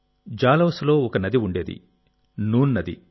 జాలౌన్లో ఒక నది ఉండేది నూన్ నది